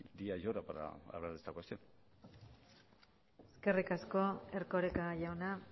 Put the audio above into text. hablar de esta cuestión eskerrik asko erkoreka jauna